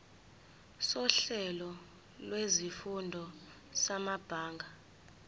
sohlelo lwezifundo samabanga